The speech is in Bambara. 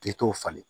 K'i t'o falen